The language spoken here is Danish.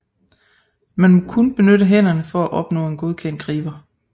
Man må kun benytte hænderne for at opnå en godkendt griber